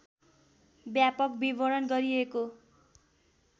व्यापक विवरण गरिएको